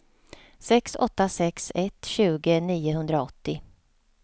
sex åtta sex ett tjugo niohundraåttio